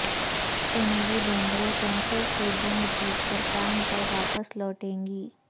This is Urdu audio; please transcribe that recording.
سونالی بیندرےکینسر سےجنگ جیت کر کام پر واپس لوٹیں گی